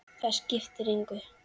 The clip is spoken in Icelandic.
Það skiptir engu